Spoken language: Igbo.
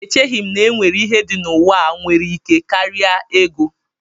Echeghị m na e nwere ihe dị n'ụwa a nwere ike karịa ego